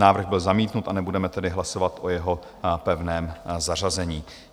Návrh byl zamítnut, a nebudeme tedy hlasovat o jeho pevném zařazení.